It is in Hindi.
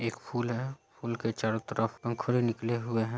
एक फूल है फूल के चारों तरफ पंखुरे निकले हुए है।